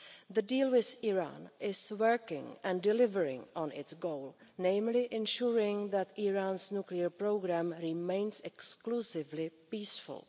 The deal with Iran is working and delivering on its goal, namely ensuring that Iran's nuclear programme remains exclusively peaceful.